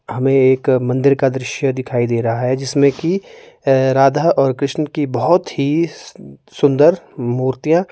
हमें एक मंदिर का दृश्य दिखाई दे रहा है जिसमें की राधा और कृष्ण की बहोत ही सुंदर मूर्तियां--